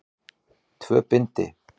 Tvö bindi.